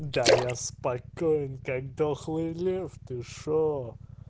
да я спокоен как дохлый лев ты что